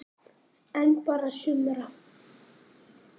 En bara sumra.